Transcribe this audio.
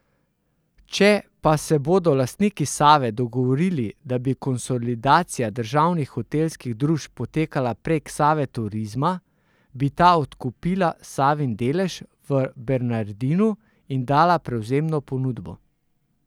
Če pa se bodo lastniki Save dogovorili, da bi konsolidacija državnih hotelskih družb potekala prek Save Turizma, bi ta odkupila Savin delež v Bernardinu in dala prevzemno ponudbo.